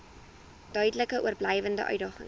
duidelik oorblywende uitdagings